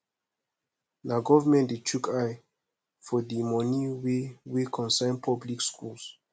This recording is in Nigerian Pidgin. na government de shook eye for the moni wey wey concern public schools